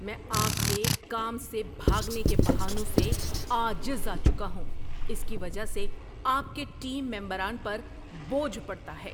میں آپ کے کام سے بھاگنے کے بہانوں سے عاجز آ چکا ہوں، اس کی وجہ سے آپ کے ٹیم ممبران پر بوجھ بڑتا ہے۔